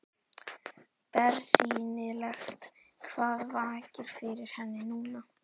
Bersýnilegt hvað vakir fyrir henni núna.